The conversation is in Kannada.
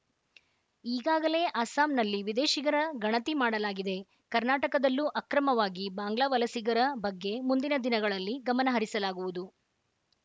ಈಗಾಗಲೇ ಅಸ್ಸಾಂನಲ್ಲಿ ವಿದೇಶಿಗರ ಗಣತಿ ಮಾಡಲಾಗಿದೆ ಕರ್ನಾಟಕದಲ್ಲೂ ಅಕ್ರಮವಾಗಿ ಬಾಂಗ್ಲಾ ವಲಸಿಗರ ಬಗ್ಗೆ ಮುಂದಿನ ದಿನಗಳಲ್ಲಿ ಗಮನಹರಿಸಲಾಗುವುದು